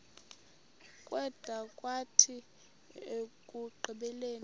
kwada kwathi ekugqibeleni